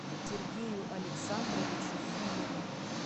сергею александровичу филину